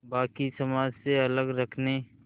बाक़ी समाज से अलग रखने